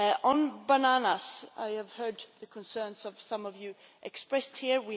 On bananas I have heard the concerns of some Members expressed here.